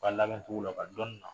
U ka labɛn cogo la, u ka dɔni na.